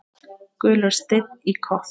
Gulur steinn í kopp.